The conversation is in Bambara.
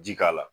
Ji k'a la